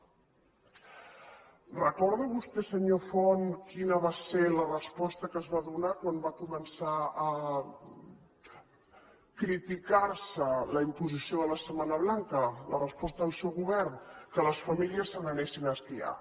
recorda vostè senyor font quina va ser la resposta que es va donar quan va començar a criticar se la imposició de la setmana blanca la resposta del seu govern que les famílies se n’anessin a esquiar